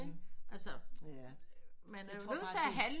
Ikke altså man er jo nødt til at handle